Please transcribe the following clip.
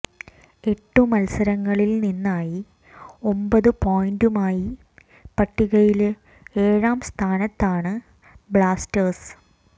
എട്ടു മല്സരങ്ങളില് നിന്നായി ഒമ്പത് പോയിന്റുമായി പട്ടികയില് ഏഴാം സ്ഥാനത്താണ് ബ്ലാസ്റ്റേഴ്സ്